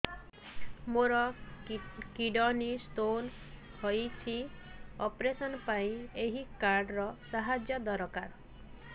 ମୋର kidney stone ହଇଛି operation ପାଇଁ ଏହି କାର୍ଡ ର ସାହାଯ୍ୟ ଦରକାର